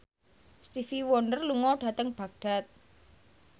Stevie Wonder lunga dhateng Baghdad